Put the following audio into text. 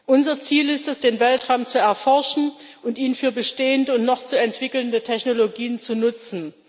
Unser Ziel ist es, den Weltraum zu erforschen und ihn für bestehende und noch zu entwickelnde Technologien zu nutzen.